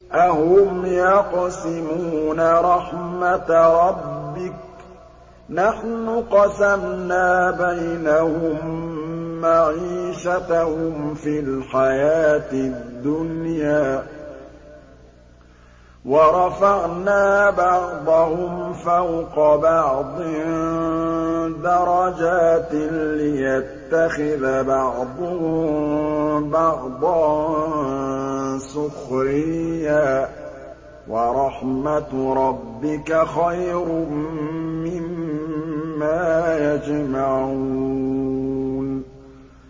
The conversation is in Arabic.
أَهُمْ يَقْسِمُونَ رَحْمَتَ رَبِّكَ ۚ نَحْنُ قَسَمْنَا بَيْنَهُم مَّعِيشَتَهُمْ فِي الْحَيَاةِ الدُّنْيَا ۚ وَرَفَعْنَا بَعْضَهُمْ فَوْقَ بَعْضٍ دَرَجَاتٍ لِّيَتَّخِذَ بَعْضُهُم بَعْضًا سُخْرِيًّا ۗ وَرَحْمَتُ رَبِّكَ خَيْرٌ مِّمَّا يَجْمَعُونَ